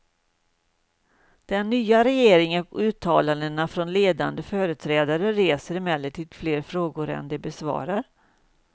Den nya regeringen och uttalandena från ledande företrädare reser emellertid fler frågor än de besvarar.